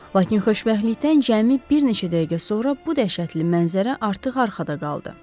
Lakin xoşbəxtlikdən cəmi bir neçə dəqiqə sonra bu dəhşətli mənzərə artıq arxada qaldı.